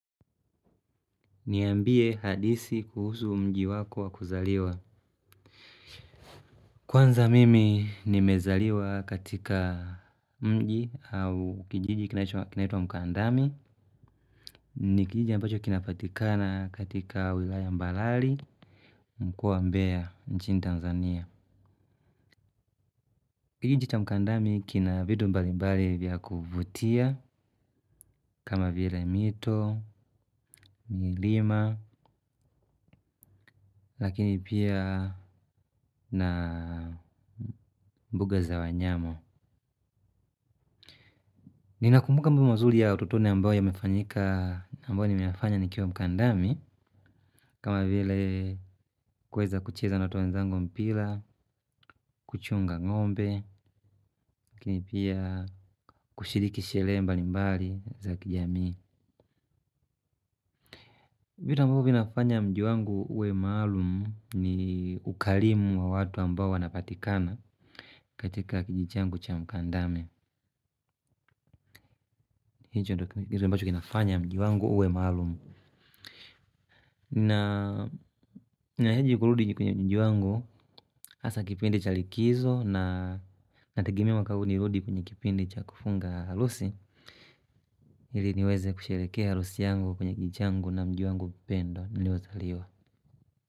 Niambie halisi kuhusu mji wako wa kuzaliwa kwanza mimi nimezaliwa katika mji au kijiji kinachoitwa mkandamu. Ni kijiji ambacho kinapatikana katika wilaya mbalali mkoa wa mbea nchini Tanzania. Kijiji cha mkandami kina vitu mbali mbali vya kuvutia kama vile mito milima lakini pia na mbuga za wanyama. Ninakumbuka mambo mazuli ya utotone ambao ya mefanyika ambao ni meyanafanya nikiwa mkandami. Kama vile kuweza kucheza na watoto wenzango mpila, kuchunga ng'ombe, lakini pia kushiriki shele mbali mbali za kijamii. Vitu ambavyo vinafanya mji wangu uwe maalumu ni ukalimu wa watu ambao wanapatikana katika kijiji changu cha mkandami. Hicho ndo kitu ambacho kinafanya mji wangu uwe maalumu. Na heji kuludi kwenye mji wangu. Asa kipindi cha likizo inategemea mwaka huu nirudi kwenye kipindi cha kufunga halusi. Ili niweze kusherekea halusi yangu kwenye kijiji changu na mji wangu pendwaNiliozaliwa.